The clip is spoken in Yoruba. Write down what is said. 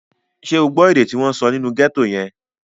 Ṣé o gbọ́ èdè tí wọ́n sọ nínú gẹ́tò yẹn?